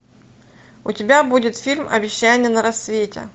у тебя будет фильм обещание на рассвете